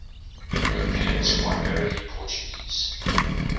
europeans primarily portuguese